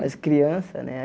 Mas criança, né?